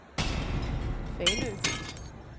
Fanø